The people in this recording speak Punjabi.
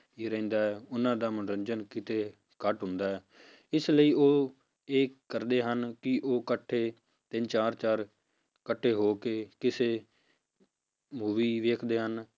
ਹੀ ਰਹਿੰਦਾ ਹੈ ਉਹਨਾਂ ਦਾ ਮਨੋਰੰਜਨ ਕਿਤੇ ਘੱਟ ਹੁੰਦਾ ਹੈ ਇਸ ਲਈ ਉਹ ਇਹ ਕਰਦੇ ਹਨ, ਕਿ ਉਹ ਇਕੱਠੇ ਤਿੰਨ ਚਾਰ ਚਾਰ ਇਕੱਠੇ ਹੋ ਕੇ ਕਿਸੇ ਮੂਵੀ ਵੇਖਦੇ ਹਨ